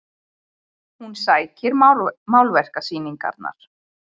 Hún sækir málverkasýningar